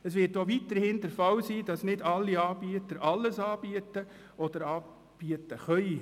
Es wird auch weiterhin der Fall sein, dass nicht alle Anbieter alles anbieten oder anbieten können.